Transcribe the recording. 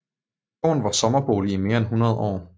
Gården var sommerbolig i mere end 100 år